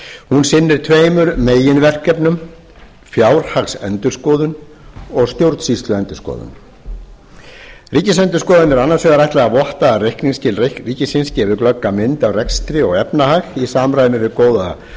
hún sinnir tveimur meginverkefnum fjárhagsendurskoðun og stjórnsýsluendurskoðun ríkisendurskoðun er annars vegar ætlað að votta að reikningsskil ríkisins gefi glögga mynd af rekstri og efnahag í samræmi við góða